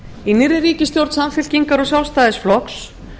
í nýrri ríkisstjórn samfylkingar og sjálfstæðisflokks